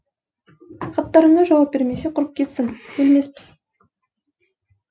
хаттарыңа жауап бермесе құрып кетсін өлмеспіз